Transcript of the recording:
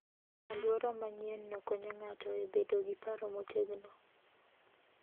Alwora manyienno konyo ng'ato bedo gi paro motegno.